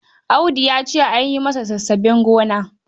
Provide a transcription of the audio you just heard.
Audu ya ce an yi masa sassaben gona.